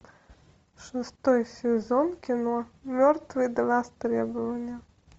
шестой сезон кино мертвые до востребования